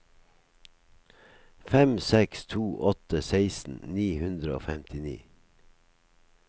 fem seks to åtte seksten ni hundre og femtini